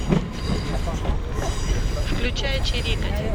включай чирикать